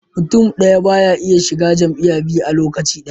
Mutun daya baya shiga jam'iya biyu a lokaci daya